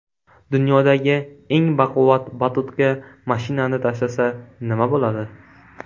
Dunyodagi eng baquvvat batutga mashinani tashlasa, nima bo‘ladi?